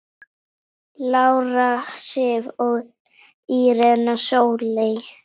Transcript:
Lára Sif og Írena Sóley.